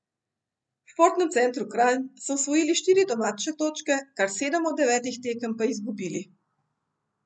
V Športnem centru Kranj so osvojili štiri domače točke, kar sedem od devetih tekem pa izgubili.